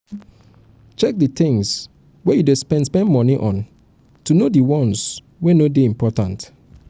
check di things wey you dey spend spend money on to know di ones wey no dey important